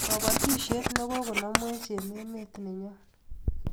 kabatishiet ne kokonamwech eng emet nenyon